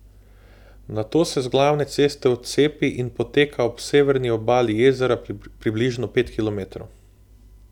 Nato se z glavne ceste odcepi in poteka ob severni obali jezera približno pet kilometrov.